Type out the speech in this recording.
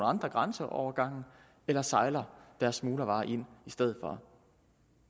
andre grænseovergange eller sejler deres smuglervarer ind i stedet for